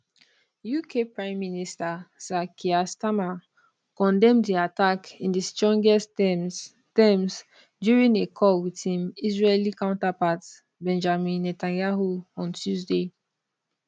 uk prime minister sir keir starmer condemn di attack in di strongest terms terms during a call wit im israeli counterpart benjamin netanyahu on tuesday